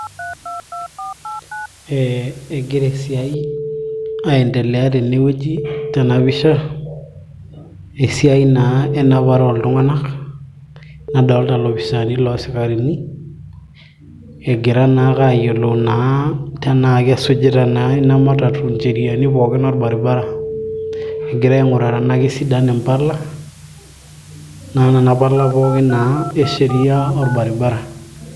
eh, egira esiai aendelea tenewueji tena pisha esiai naa enapare oltung'anak nadolta ilopisaani loosikarini egira naa ake ayiolou naa tenaa kesujita naa ina matatu incheriani pookin orbaribara egira aing'uraa tenaa kisidan impala naa nana pala pookin naa e sheria orbaribara.